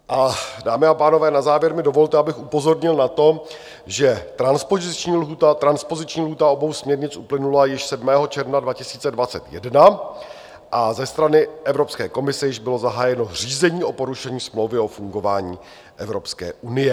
Dámy a pánové, na závěr mi dovolte, abych upozornil na to, že transpoziční lhůta obou směrnic uplynula již 7. června 2021 a ze strany Evropské komise již bylo zahájeno řízení o porušení smlouvy o fungování Evropské unie.